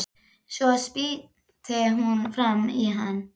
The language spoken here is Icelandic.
Svo spýtti hún framan í hann.